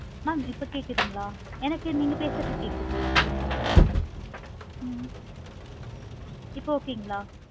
mam இப்போ கேட்குதுங்களா? எனக்கு நீங்க பேசுறது கேட்குது ஹம் இப்போ okay இங்களா?